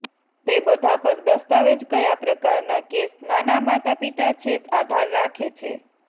તે બધા પર દસ્તાવેજ કયા પ્રકારના કેસ નાના માતાપિતા છે આધાર રાખે છે